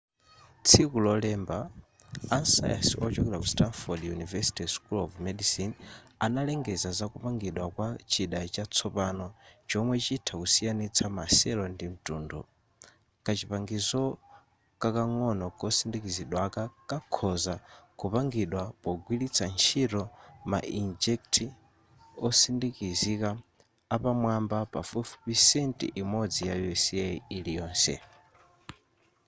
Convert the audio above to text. tsiku lolemba asayansi ochokera ku stanford university school of medicine analengeza zakupangidwa kwa chida chatsopano chomwe chitha kusiyanitsa ma cell ndi mtundu: kachipangizo kakang'ono kosindikizidwaka kakhoza kupangidwa pogwiritsa ntchito ma inkjet osindikizika apamwamba pafupifupi cent imodzi ya u.s iliyonse